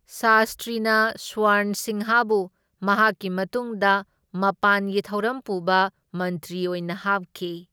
ꯁꯥꯁꯇ꯭ꯔꯤꯅ ꯁ꯭ꯋꯔꯟ ꯁꯤꯡꯍꯕꯨ ꯃꯍꯥꯛꯀꯤ ꯃꯇꯨꯡꯗ ꯃꯄꯥꯟꯒꯤ ꯊꯧꯔꯝ ꯄꯨꯕ ꯃꯟꯇ꯭ꯔꯤ ꯑꯣꯏꯅ ꯍꯥꯞꯈꯤ꯫